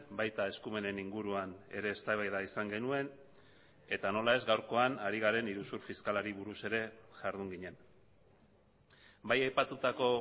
baita eskumenen inguruan ere eztabaida izan genuen eta nola ez gaurkoan ari garen iruzur fiskalari buruz ere jardun ginen bai aipatutako